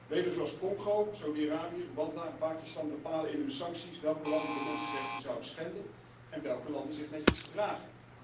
Leden zoals Congo, Saudi Arabië, Rwanda en Pakistan bepalen in hun sancties welke landen de mensenrechten zouden schenden en welke landen zich netjes gedragen.